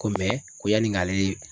Ko ko yani k'aleee